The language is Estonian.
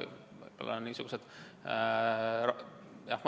Võib-olla on niisugused